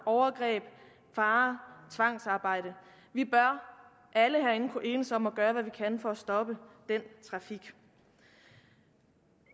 overgreb fare tvangsarbejde vi bør alle herinde kunne enes om at gøre alt hvad vi kan for at stoppe den trafik